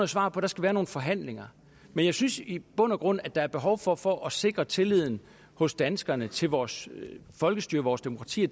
svar på der skal være nogle forhandlinger men jeg synes i bund og grund at der er behov for og for at sikre tilliden hos danskerne til vores folkestyre vores demokrati